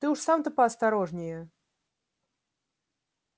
ты уж сам-то поосторожнее